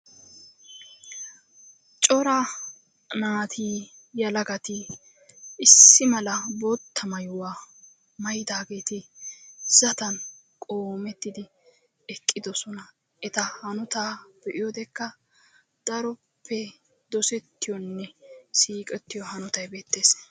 Cora naati issi mala bootta maayuwa maayidaageeti zatan qoomettidi eqqidosona. Eta hanotaa be'iyodekka daroppe dosettiyonne siiqettiyo hanotayi beettes.